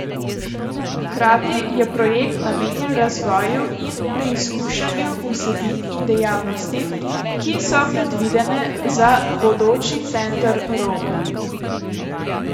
Hkrati je projekt namenjen razvoju in preizkušanju vsebin in dejavnosti, ki so predvidene za bodoči Center Rog.